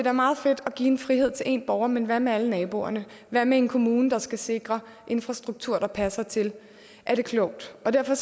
er meget fedt at give en frihed til én borger men hvad så med alle naboerne hvad med en kommune der skal sikre infrastruktur der passer til er det klogt derfor